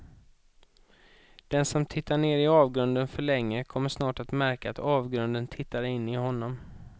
Den som tittar ner i avgrunden för länge kommer snart att märka att avgrunden tittar in i honom.